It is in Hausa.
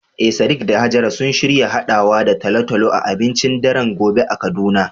Eh sadiq da hajara sun shirya haɗawa da talo-talo a abincin daren gobe a kaduna.